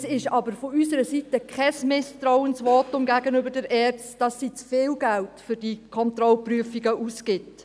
Das ist aber von unserer Seite kein Misstrauensvotum gegenüber der ERZ, wonach sie für diese Kontrollprüfungen zu viel Geld ausgibt.